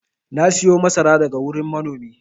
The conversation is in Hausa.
na siyo masara daga wurin manomin